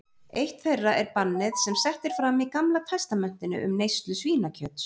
Eitt þeirra er bannið sem sett er fram í Gamla testamentinu um neyslu svínakjöts.